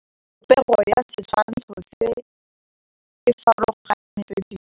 Popêgo ya setshwantshô se, e farologane le tse dingwe.